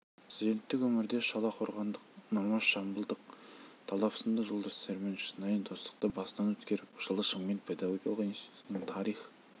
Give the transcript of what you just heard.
студенттік өмірде шолаққорғандық нұрмаш жамбылдық талап сынды жолдастарымен шынайы достықты басынан өткеріп жылы шымкент педагогикалық институтының тарих